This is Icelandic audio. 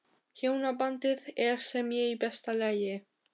Hjónabandið er sem sé í besta lagi?